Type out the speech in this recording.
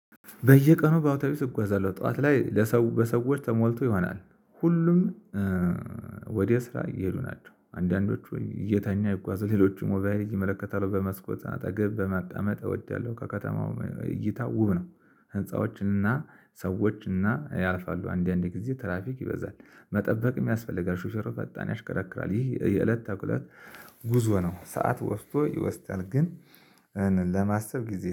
በየቀኑ በአውቶቡስ እጓዛለሁ ጠዋት ላይ ለሰው በሰዎች ተሞልቶ ይሆናል። ሁሉም ወዲያ ስራ እየሄዱ ናቸው አንዳንዶቹ እየተኛ ይጓዙ ሌሎች ሞባይል እየመለከታቸው በመስኮት አጠገብ በመቀመጥ እወዳለሁ። ከከተማው እይታ ውብ ነው። ህንፃዎችን እና ሰዎች እና ያልፋሉ አንዳንዴ ጊዜ ትራፊክ ይበዛል መጠበቅም ያስፈልጋል። ሹፌሩ ፈጣን ያሽከረክራል ይህ የእለት ጉዞ ነው። ሰዓት ወስዶ ይወስዳል ግን ለማሰብ ጊዜ